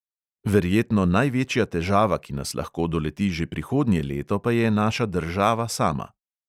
Verjetno največja težava, ki nas lahko doleti že prihodnje leto, pa je naša država sama.